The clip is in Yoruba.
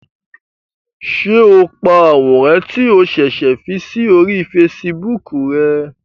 Ṣe o pá àwòrán ti o ṣẹṣẹ fí si ori Facebook rè?